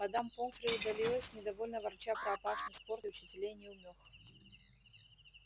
мадам помфри удалилась недовольно ворча про опасный спорт и учителей-неумёх